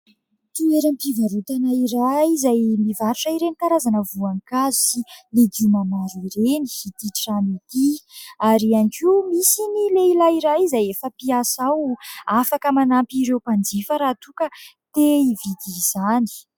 Toeram-pivarotana iray izay mivarotra ireny karazana voankazo sy legioma maro ireny ity trano ity ; ary ihany koa misy ny lehilahy iray izay efa mpiasa ao afaka manampy ireo mpanjifa raha toa ka te hividy izany.